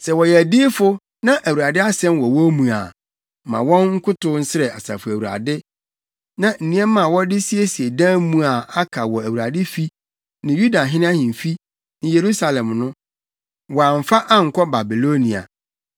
Sɛ wɔyɛ adiyifo na Awurade asɛm wɔ wɔn mu a, ma wɔn nkotow nsrɛ Asafo Awurade na nneɛma a wɔde siesie dan mu a aka wɔ Awurade fi ne Yudahene ahemfi ne Yerusalem no, wɔamfa ankɔ Babilonia.